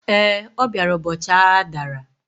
Ee, ọ bịara ụbọchị agha dara